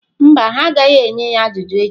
Mba, ha agaghị enye ya ajụjụ echi.